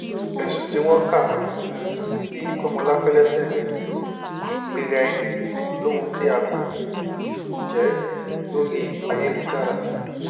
ẹsùn tí wọn kà um sí kọmọláfẹ lẹsẹ ni pípẹaraẹni lóhun tí a kò um jẹ lórí ayélujára